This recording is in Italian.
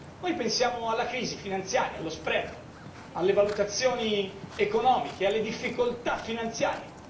Noi pensiamo alla crisi finanziaria, allo spread alle valutazioni economiche e alle difficoltà finanziarie.